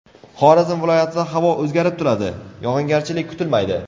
Xorazm viloyatida havo o‘zgarib turadi, yog‘ingarchilik kutilmaydi.